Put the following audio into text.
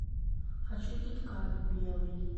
хочу кит кат белый